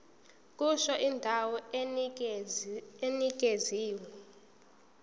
kusho indawo enikezwe